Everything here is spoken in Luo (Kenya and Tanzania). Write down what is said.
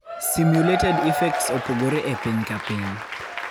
Simulated effects opogore epiny ka piny.